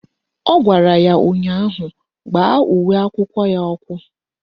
Ọ gwara ya ụnyaahụ "Gbaa uwe akwụkwọ ya ọkụ"!